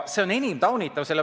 See on enim taunitav.